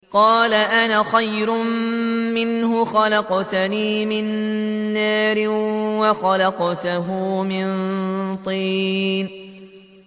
قَالَ أَنَا خَيْرٌ مِّنْهُ ۖ خَلَقْتَنِي مِن نَّارٍ وَخَلَقْتَهُ مِن طِينٍ